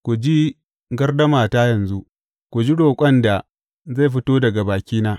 Ku ji gardamata yanzu; ku ji roƙon da zai fito daga bakina.